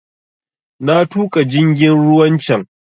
Na tuƙa jingin ruwan can